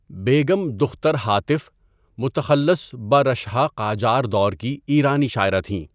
بیگم دختر ہاتف، متخلص به رَشحہ قاجار دور کی ایرانی شاعره تھیں.